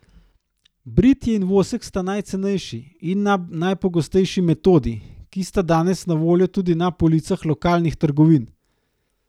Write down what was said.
Britje in vosek sta najcenejši in najpogostejši metodi, ki sta danes na voljo tudi na policah lokalnih trgovin.